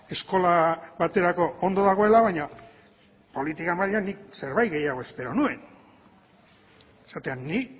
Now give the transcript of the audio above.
eskola baterako ondo dagoela baina politika mailan nik zerbait gehiago espero nuen esatea ni